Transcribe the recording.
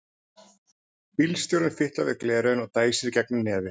Bílstjórinn fitlar við gleraugun og dæsir í gegnum nefið.